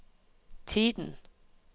tiden